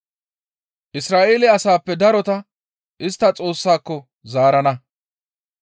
Isra7eele asaappe darota istta Xoossako zaarana.